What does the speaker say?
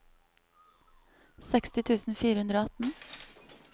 seksti tusen fire hundre og atten